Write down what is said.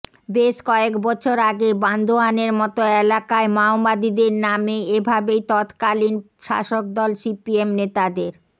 বেশ কয়েক বছর আগে বান্দোয়ানের মতো এলাকায় মাওবাদীদের নামে এ ভাবেই তৎকালীন শাসকদল সিপিএম নেতাদের